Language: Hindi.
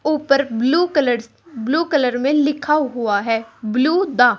ऊपर ब्लू कलर ब्लू कलर में लिखा हुआ है ब्लू दा--